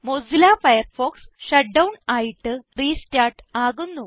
Mozilla Firefox shut down ആയിട്ട് restart ആകുന്നു